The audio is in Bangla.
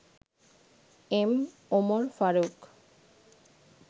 এম. উমর ফারুক